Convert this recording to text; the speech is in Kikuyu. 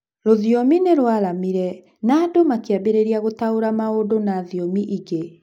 rũthiomi nĩrwaramire na andũ makĩambĩrĩria gũtaũra maũndũ na thiomi ingĩ.